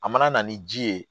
A mana na ni ji ye